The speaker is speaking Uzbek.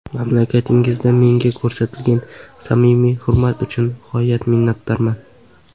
Mamlakatingizda menga ko‘rsatilgan samimiy hurmat uchun g‘oyat minnatdorman.